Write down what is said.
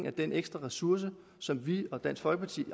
af den ekstra ressource som vi og dansk folkeparti